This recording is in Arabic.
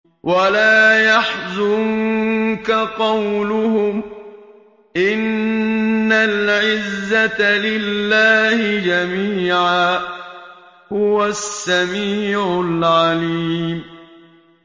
وَلَا يَحْزُنكَ قَوْلُهُمْ ۘ إِنَّ الْعِزَّةَ لِلَّهِ جَمِيعًا ۚ هُوَ السَّمِيعُ الْعَلِيمُ